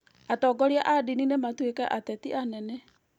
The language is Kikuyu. atongoria a ndini nĩ matuĩkĩte ateti anene